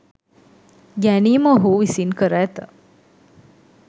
ගැනීම ඔහු විසින් කර ඇත.